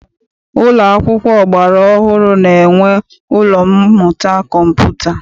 Ụlọ akwụkwọ ọgbara ọhụrụ na-enwe ụlọ mmụta kọmputa.